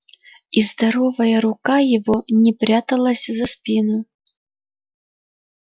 и здоровая рука его не пряталась за спину